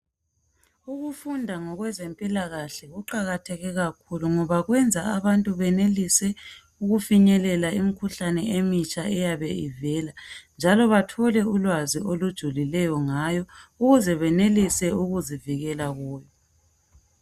Ukufunda ngakwezemphikahle kuqakatheke kakhulu ngoba kwenza abantu benelise ukufinyele imikhuhlane emitsha eyabe ivela. Njalo bathole ulwazi olujulileyo ngayo ukuze benelise ukuzivikela khuyo.